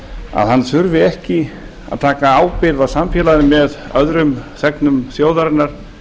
að hann þurfi ekki að taka ábyrgð á samfélaginu með öðrum þegnum þjóðarinnar